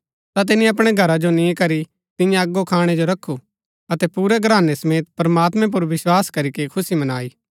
ता तिनी अपणै घरा जो नि करी तियां अगो खाणै जो रखु अतै पुरै घरानै समेत प्रमात्मैं पुर विस्वास करीके खुशी मनाई